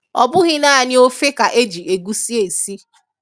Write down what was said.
Ọ bụghị naanị ọfe ka e jị egusi esị.